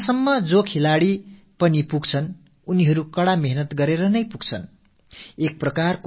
இந்த அளவுக்கு ஒரு விளையாட்டு வீரர் எட்டுகிறார் என்றால் அவர் மிகக் கடினமான முயற்சிக்குப் பிறகு தான் இந்த நிலையை எட்டுகிறார் என்று பொருள்